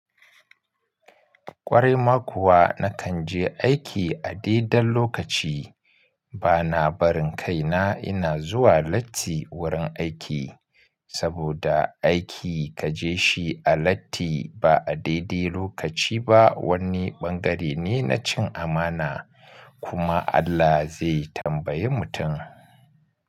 Ƙwarai ma kuwa na kan je aiki a daidan lokaci. Bana barin kaina ina zuwa latti wurin aiki, saboda aiki kaje shi a latti ba a daidai lokaci ba wani ɓangare ne na cin amana. Kuma Allah zai tambayi mutum.